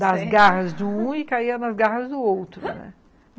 das garras de um e caía nas garras do outro, né?